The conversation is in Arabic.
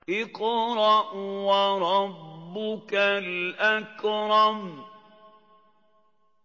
اقْرَأْ وَرَبُّكَ الْأَكْرَمُ